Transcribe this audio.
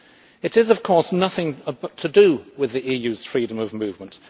It is, of course, nothing to do with the EU's freedom of movement.